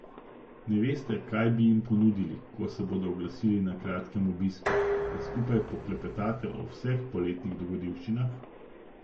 Ne veste, kaj bi jim ponudili, ko se bodo oglasili na kratkem obisku, da skupaj poklepetate o vseh poletnih dogodivščinah?